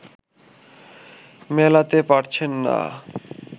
মেলাতে পারছেন না